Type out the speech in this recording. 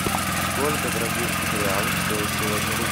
сколько бразильских реалов стоит сегодня рубль